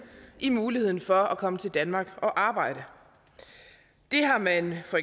i muligheden for at komme til danmark og arbejde det har man for